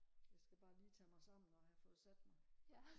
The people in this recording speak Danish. jeg skal bare lige have tage mig sammen og have fået sat mig